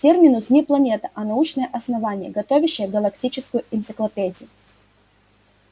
терминус не планета а научное основание готовящее галактическую энциклопедию